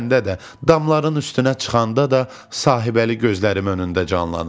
damların üstünə çıxanda da sahibəli gözlərim önündə canlanır.